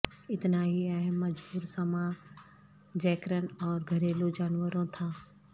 اتنا ہی اہم مجبور سماجیکرن اور گھریلو جانوروں تھا